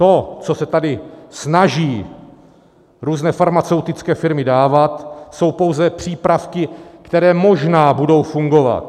To, co se tady snaží různé farmaceutické firmy dávat, jsou pouze přípravky, které možná budou fungovat.